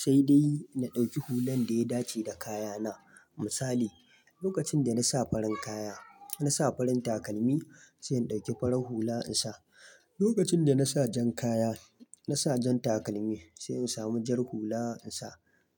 sai dai na ɗauki hullan da ya dace da kayana. Misali lokacin da na sa farin kaya, na sa farin takalmi sai in ɗauki farar hula in sa. Lokacin da na sa jan kaya, na sa jan takalmi sai in samu jar hula in sa.